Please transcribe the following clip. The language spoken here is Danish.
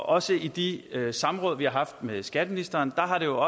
også i de samråd vi har haft med skatteministeren har det